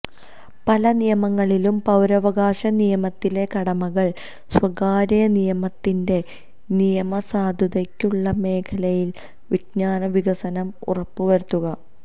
പല നിയമങ്ങളിലും പൌരാവകാശ നിയമത്തിലെ കടമകൾ സ്വകാര്യ നിയമത്തിന്റെ നിയമസാധുതയ്ക്കുള്ള മേഖലയിലെ വിജ്ഞാന വികസനം ഉറപ്പുവരുത്തുക